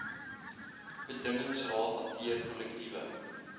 bedingingsraad hanteer kollektiewe